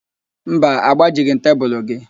Mba, agbajighị m tebulu gị